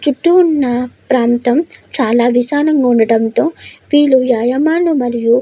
చుట్టూ ఉన్న ప్రాంతం చాలా విశాలంగా ఉండడం తో వీళ్లు వ్యాయామాలు మరియు --